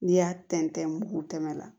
N'i y'a tɛntɛn mugu tɛmɛ na